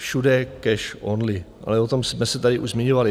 Všude cash only, ale o tom jsme se tady už zmiňovali.